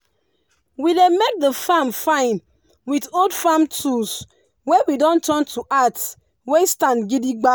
we dey make the farm fine with old farm tools wey we don turn to art wey stand gidigba